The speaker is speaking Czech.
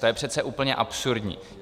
To je přece úplně absurdní.